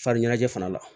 Fari ɲɛnajɛ fana la